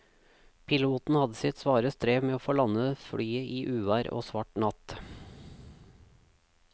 Piloten hadde sitt svare strev med å få landet flyet i uvær og svart natt.